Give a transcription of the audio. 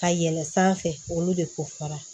Ka yɛlɛn sanfɛ olu de kofɔra